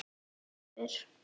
Ég spyr.